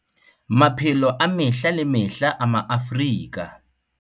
Maphelo a mehla le mehla a Maafrika